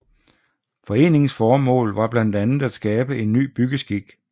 Foreningens formål var blandt andet at skabe en ny byggeskik